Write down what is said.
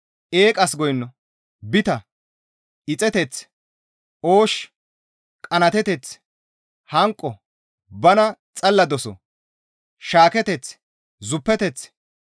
Eeqas goyno, bita, ixeteth, oosh, qanaateteth, hanqo, bana xalla doso, shaaketeth, zuppeteth,